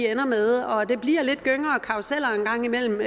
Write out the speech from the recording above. ender med og det bliver en gang imellem